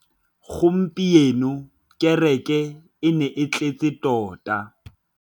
Gompieno kêrêkê e ne e tletse tota.